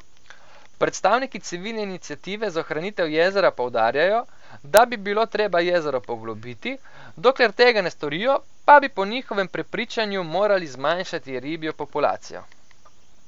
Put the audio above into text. Predstavniki civilne iniciative za ohranitev jezera poudarjajo, da bi bilo treba jezero poglobiti, dokler tega ne storijo, pa bi po njihovem prepričanju morali zmanjšati ribjo populacijo.